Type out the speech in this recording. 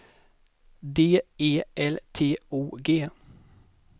D E L T O G